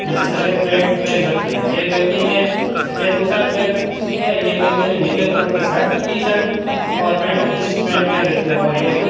नीचे सफेद पैंट पहन रखी है एक व्यक्ति ने सफेद शर्ट पहन रखी है एक व्यक्ति ने नीले कलर की शर्ट टी-शर्ट और जींस पैंट पहन रखी है और ये खुद --